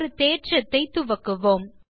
ஒரு தேற்றத்தை துவக்குவோம்